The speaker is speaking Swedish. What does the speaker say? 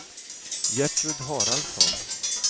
Gertrud Haraldsson